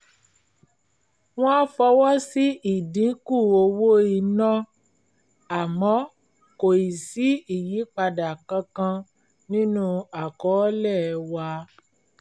wọ́n fọwọ́ sí ìdínkù owó iná àmọ́ kò ì sí ìyípadà kankan nínú àkọọ́lẹ̀ wa